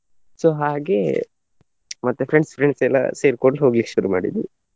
So ಹಾಗೆ ಮತ್ತೆ friends friends ಎಲ್ಲ ಸೇರ್ಕೊಂಡು ಹೋಗ್ಲಿಕ್ಕೆ ಶುರು ಮಾಡಿದ್ವಿ.